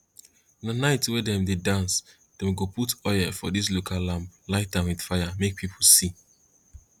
na night wen dem dey dance dem go put oil for dis local lamp light am with fire make people see